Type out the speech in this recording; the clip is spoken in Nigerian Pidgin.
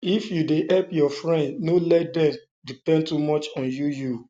if you dey help your friend no let dem depend too much on you you